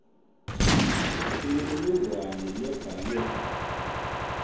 imininingwane lebhalwe kabi